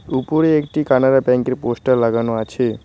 উপরে একটি কানারা ব্যাঙ্কের পোস্টার লাগানো আছে।